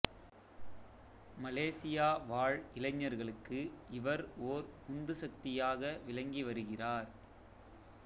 Malaysia வாழ் இளைஞர்களுக்கு இவர் ஓர் உந்து சக்தியாக விளங்கி வருகிறார்